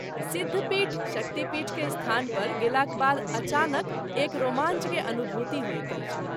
सिद्धपीठ/शक्ति पीठ के स्थान पर गेला के बाद अचानक एक रोमांच के अनुभूति होइत अछि।